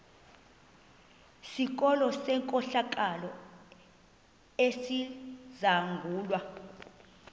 sikolo senkohlakalo esizangulwa